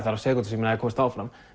þrjár sekúndur sem ég komst áfram